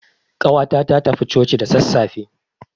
Ƙawata ta tafi coci da sassafe.